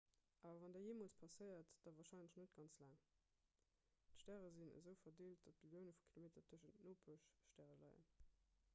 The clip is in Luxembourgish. awer wann dat jeemools passéiert da warscheinlech net ganz laang d'stäre sinn esou verdeelt datt billioune vu kilometer tëschent nopeschstäre leien